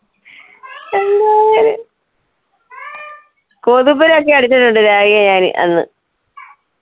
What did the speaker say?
കൊതുമ്പിന് ഒക്കെ അടിച്ചടുണ്ട്ഞാൻ അന്ന്.